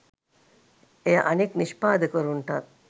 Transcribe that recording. එය අනෙක් නිෂ්පාදකවරුන්ටත්